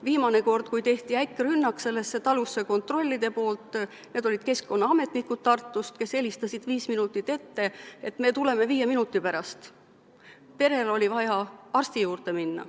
Viimane kord, kui kontrollid tegid sellesse talusse äkkrünnaku – need olid keskkonnaametnikud Tartust, kes helistasid viis minutit ette, et tulevad –, oli perel vaja arsti juurde minna.